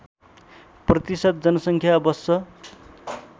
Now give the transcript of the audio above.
प्रतिशत जनसङ्ख्या बस्छ